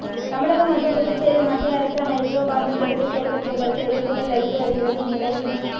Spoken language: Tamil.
தமிழகம் மற்றும் புதுச்சேரியில் மத்திய அரசு ஹைட்ரோ கார்பன் திட்டத்தை செயல்படுத்துவதற்கு எதிர்ப்புகள் வலுத்து வருகிறது இந்நிலையில்